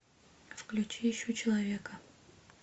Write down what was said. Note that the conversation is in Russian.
включи ищу человека